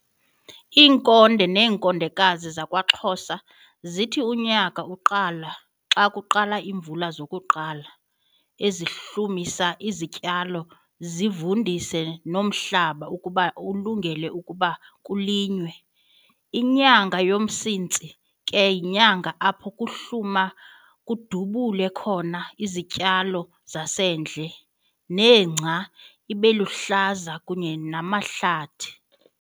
Iinkonde nenkondekazi zakwaXhosa zithi unyaka uqala xa kuqala iimvula zokuqala ezihlumisa izityalo zivundise nomhlaba ukuba ulungele ukuba kulinywe. Inyanga yoMsintsi ke yinyanga apho kuhluma kudubule khona izityalo zasendle, nengca ibeluhlaza kunye namahlathi.